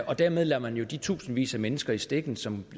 og dermed lader man jo de tusindvis af mennesker i stikken som